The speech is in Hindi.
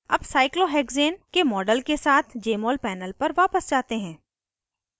अब cyclohexane के model के साथ jmol panel पर वापस जाते हैं